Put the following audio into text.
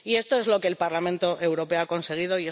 Y esto es lo que el Parlamento Europeo ha conseguido.